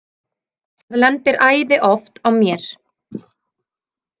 Það lendir æði oft á mér.